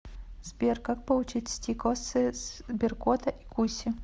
сбер как получить стикосы сберкота и куси